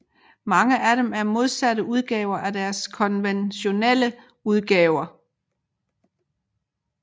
Mange af dem er modsatte udgaver af deres konventionelle udgaver